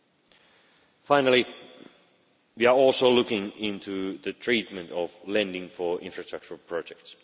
Lastly, we are also looking into the treatment of lending for infrastructure projects.